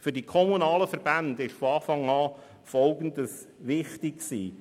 Für die kommunalen Verbände war von Anfang an Folgendes wichtig: